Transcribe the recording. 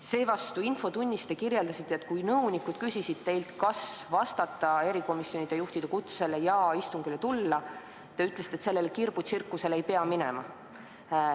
Seevastu infotunnis te kirjeldasite, et kui nõunikud küsisid teilt, kas vastata erikomisjonide juhtide kutsele ja istungile tulla, siis te ütlesite, et sellele kirbutsirkusele ei pea minema.